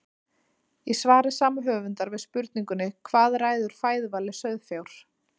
Í svari sama höfundar við spurningunni Hvað ræður fæðuvali sauðfjár?